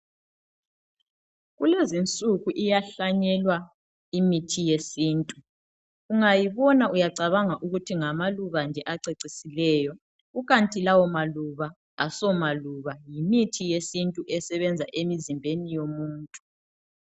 Kulezinsuku iyahlanyelwa imithi yesintu ungayibona uyacabanga ukuthi ngamaluba nje acecisileyo kukanti lawo maluba asomaluba yimithi yesintu esebenza emizimbeni yomuntu.